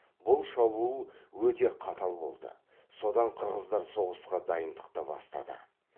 бұл шабуыл өте қатал болды содан қырғыздар соғысқа дайындықты бастады